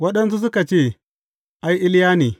Waɗansu suka ce, Ai, Iliya ne.